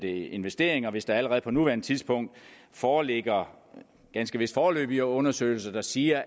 investering hvis der allerede på nuværende tidspunkt foreligger ganske vist foreløbige undersøgelser der siger